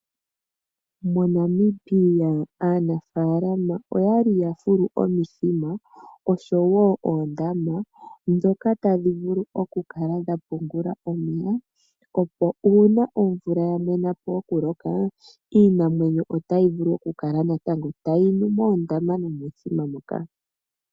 MoNamibia aanafalama oyali ya fulu omithima noshowo oondama ndhoka tadhi vulu oku kala dha pungula omeya, opo uuna omvula ya mwena po oku loka iinamwenyo otayi vulu oku kala tayi nu moondama nomomithima moka.